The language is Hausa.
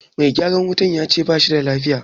Mai gyaran wutan yace a bashi filaya